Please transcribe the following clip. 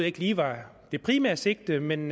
ikke lige var det primære sigte men